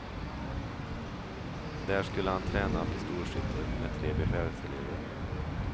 Där skulle han träna pistolskytte med tre befälselever.